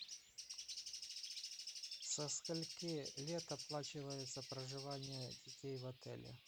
со скольки лет оплачивается проживание детей в отеле